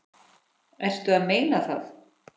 Ertu að meina það?